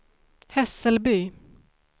Hässelby